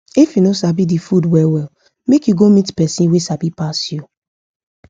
if u no sabi the food well well make u go meet person wa sabi pass u